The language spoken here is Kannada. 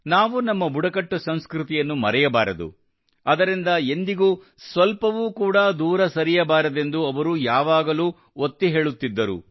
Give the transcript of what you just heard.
ನಾವು ನಮ್ಮ ಬುಡಕಟ್ಟು ಸಂಸ್ಕೃತಿಯನ್ನು ಮರೆಯಬಾರದು ಅದರಿಂದ ಎಂದಿಗೂ ಸ್ವಲ್ಪವೂ ಕೂಡಾ ದೂರ ಸರಿಯಬಾರದೆಂದು ಅವರು ಯಾವಾಗಲೂ ಒತ್ತಿ ಹೇಳುತ್ತಿದ್ದರು